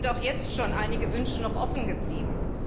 Es sind auch jetzt schon einige Wünsche noch offen geblieben.